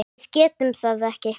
Við getum það ekki.